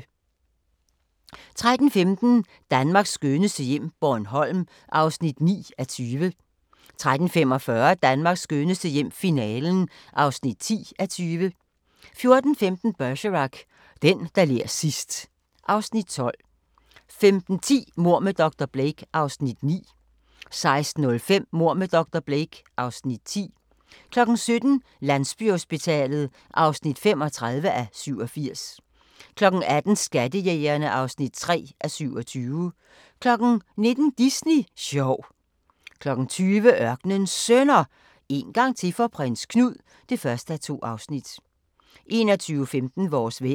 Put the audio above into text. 13:15: Danmarks skønneste hjem - Bornholm (9:20) 13:45: Danmarks skønneste hjem - finalen (10:20) 14:15: Bergerac: Den, der ler sidst ... (Afs. 12) 15:10: Mord med dr. Blake (Afs. 9) 16:05: Mord med dr. Blake (Afs. 10) 17:00: Landsbyhospitalet (35:87) 18:00: Skattejægerene (3:27) 19:00: Disney sjov 20:00: Ørkenens Sønner – En gang til for Prins Knud (1:2) 21:15: Vores vejr